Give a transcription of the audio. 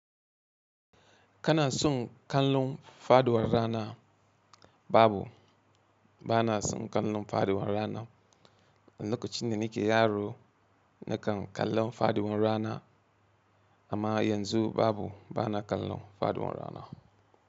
Kana son kallon faduwar rana? Babu, bana son kallon faduwar rana. Lokacin da nake yaro, nakan kallon faduwar rana amma yanzu babu, bana kallon faduwar rana.